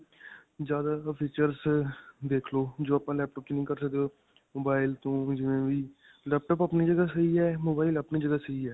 ਜਿਆਦਾ features ਦੇਖਲੋ ਜੋ ਆਪਾਂ laptop 'ਚ ਨਹੀ ਕਰ ਸਕਦੇ mobile ਤੋਂ ਜਿਵੇਂ ਵੀ laptop ਆਪਣੀ ਜਗ੍ਹਾ ਸਹੀ ਹੈ mobile ਆਪਣੀ ਜਗ੍ਹਾ ਸਹੀ ਹੈ.